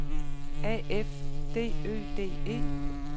A F D Ø D E